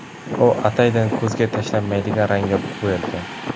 U ataydan ko‘zga tashlanmaydigan rangga bo‘yalgan.